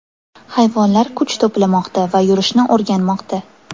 Hayvonlar kuch to‘plamoqda va yurishni o‘rganmoqda.